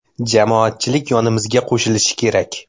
Jamoatchilik yonimizga qo‘shilishi kerak.